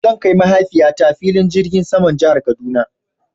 Zan kai mahaifiya ta filin jirgin saman jihar kaduna